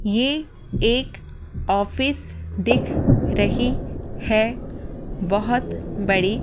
ये एक ऑफिस दिख रही है बहुत बड़ी--